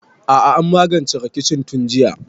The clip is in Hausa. A'a an magance rikicin tun jiya